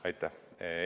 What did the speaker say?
Aitäh!